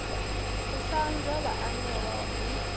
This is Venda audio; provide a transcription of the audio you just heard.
u sa anza vhaanewa ri